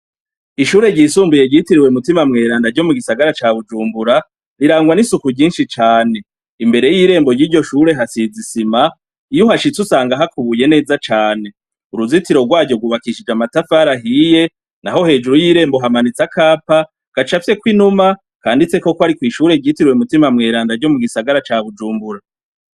Ishure ryisumbuye ryitiriwe mutima mweranda ryo mugisagara ca Bujumbura rirangwa n'isuku ryinshi cane imbere yirembo yiryo shure hasize isima iyo uhashitse usanga hakubuye neza cane, uruzitiro rwaryo rwubakishije amatafari ahiye naho hejuru yirembo hamanitse akapa gacafyeko inuma kanditseko kwari kwishure ryitiriwe mutima mweranda ryo mu gisagara ca Bujumbura.